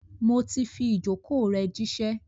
Mo ti fi ìjókòó rẹ̀ jíṣẹ́.